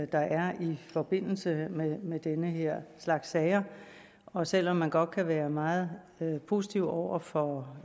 der er i forbindelse med den her slags sager og selv om man godt kan være meget positiv over for